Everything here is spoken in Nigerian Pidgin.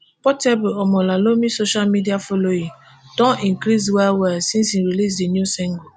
portable omolalomi social media following don increase wellwell since e release di new single.